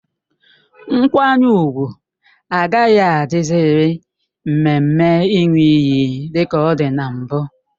Nkwanye ùgwù agaghị adị ziri mmemme Ịṅụ iyi dika ọ dị na mbụ